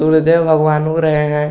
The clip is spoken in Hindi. सूर्यदेव भगवान उग रहे हैं।